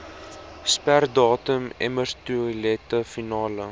sperdatum emmertoilette finaal